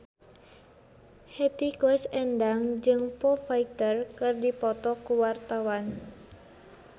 Hetty Koes Endang jeung Foo Fighter keur dipoto ku wartawan